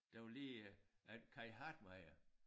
Der var lige øh Kai Hartmeyer